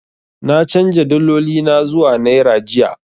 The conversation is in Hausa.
Na canja daloli na zuwa naira jiya.